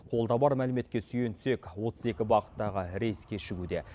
қолда бар мәліметке сүйенсек отыз екі бағыттағы рейс кешігуде